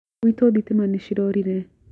Gwitũ thitima nĩ ciorore